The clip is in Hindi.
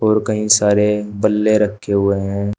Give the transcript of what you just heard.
और कई सारे पल्ले रखे हुए हैं।